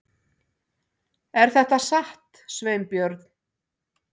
Er þetta satt, Sveinbjörn?